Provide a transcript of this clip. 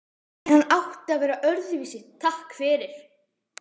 En hann átti að vera öðruvísi, takk fyrir.